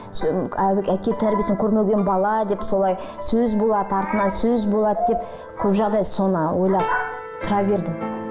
әке тәрбиесін көрмеген бала деп солай сөз болады артынан сөз болады деп көп жағдай соны ойлап тұра бердім